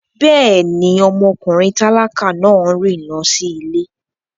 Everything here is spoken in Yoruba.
Bẹ́ẹ̀ni, ọmọkùnrin tálákà náà rìn lọ sí ilé